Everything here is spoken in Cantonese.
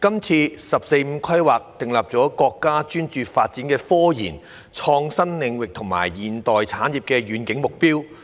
"十四五"規劃訂立了國家專注發展科研、創新領域和現代產業的遠景目標。